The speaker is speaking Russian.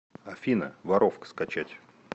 афина воровка скачать